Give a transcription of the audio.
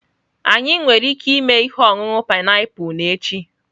Anyị nwere ike ịme ihe ọṅụṅụ painiapulu n'echi?